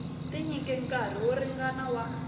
tinyike nkarhi wo ringana wa